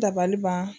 Dabaliban